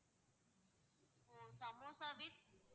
O samosa with